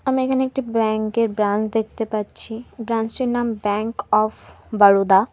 আমি এখানে একটি ব্র্যাঙ্কের ব্রাঞ্চ দেখতে পাচ্ছি ব্রাঞ্চটির নাম ব্যাঙ্ক অফ বরোদা ।